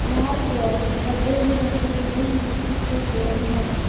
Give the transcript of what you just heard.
बाहर की ओर डब्बे भी रखे हुए है जिसकी कलर रेड है।